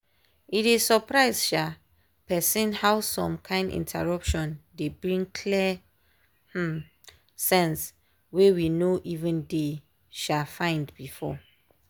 e dey surprise um person how some kind interruption dey bring clear um sense wey we no even dey um find before.